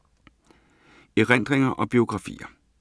Erindringer og biografier